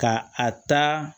Ka a ta